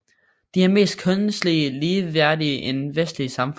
De er mere kønslig ligeværdige end vestlige samfund